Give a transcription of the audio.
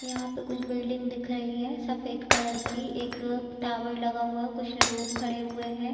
यहाँ पे कुछ बिल्डिंग दिख रही है सफेद कलर की। एक टॉवर लगा हुआ कुछ लोग खड़े हुए हैं।